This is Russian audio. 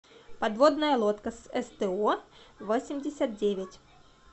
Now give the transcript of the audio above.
подводная лодка с сто восемьдесят девять